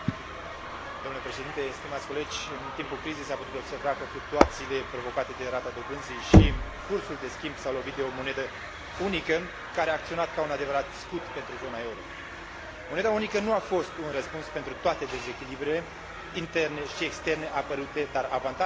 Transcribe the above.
În timpul crizei s a putut observa că fluctuațiile provocate de rata dobânzii și cursul de schimb s au lovit de o monedă unică, care a acționat ca un adevărat scut pentru zona euro. Moneda unică nu a fost un răspuns pentru toate dezechilibrele interne și externe apărute, dar avantajele oferite de